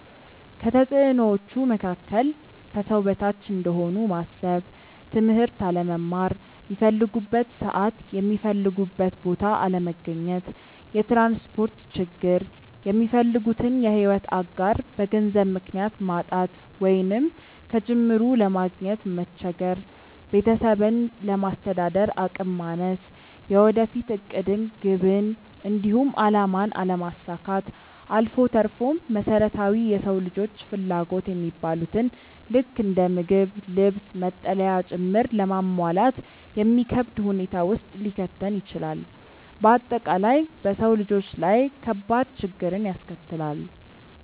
ከተፅዕኖዎቹ መካከል፦ ከሰው በታች እንደሆኑ ማሰብ፣ ትምህርት አለመማር፣ ሚፈልጉበት ሰዓት የሚፈልጉበት ቦታ አለመገኘት፣ የትራንስፖርት ችግር፣ የሚፈልጉትን የሕይወት አጋር በገንዘብ ምክንያት ማጣት ወይንም ከጅምሩ ለማግኘት መቸገር፣ ቤተሰብን ለማስተዳደር አቅም ማነስ፣ የወደፊት ዕቅድን፣ ግብን፣ እንዲሁም አላማን አለማሳካት አልፎ ተርፎም መሰረታዊ የሰው ልጆች ፍላጎት የሚባሉትን ልክ እንደ ምግብ፣ ልብስ፣ መጠለያ ጭምር ለማሟላት የሚከብድ ሁኔታ ውስጥ ሊከተን ይችላል። በአጠቃላይ በሰው ልጆች ላይ ከባድ ችግርን ያስከትላል።